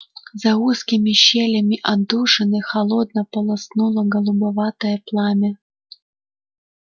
за узкими щелями отдушины холодно полоснуло голубоватое пламя